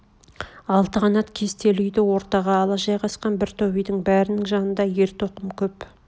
алты қанат кестелі үйді ортаға ала жайғасқан бір топ үйдің бәрнің жанында ер-тоқым көп